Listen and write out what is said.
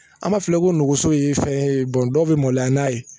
An b'a fɔ ko nogoso ye fɛn ye dɔw bɛ maloya n'a ye